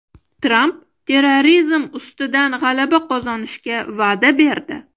Tramp terrorizm ustidan g‘alaba qozonishga va’da berdi.